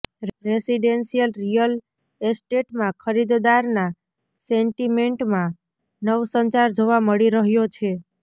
residential real એસ્ટેટમાં ખરીદદારના સેન્ટિમેન્ટમાં નવસંચાર જોવા મળી રહ્યો છે